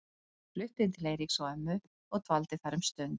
Hann flutti inn til Eiríks og ömmu og dvaldi þar um stund.